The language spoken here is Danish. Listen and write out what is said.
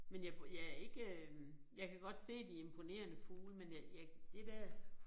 Men jeg jeg ikke øh jeg kan godt se de imponerende fugle men jeg jeg det dér